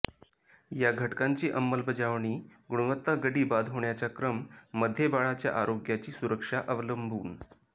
या घटकांची अंमलबजावणी गुणवत्ता गडी बाद होण्याचा क्रम मध्ये बाळाच्या आरोग्याची सुरक्षा अवलंबून